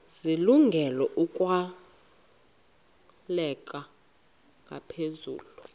zilungele ukwalekwa ngaphezulu